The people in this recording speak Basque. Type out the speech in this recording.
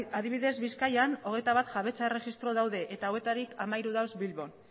adibidez bizkaian hogeita bat jabetza erregistro daude eta hauetarik hamairu daude bilbon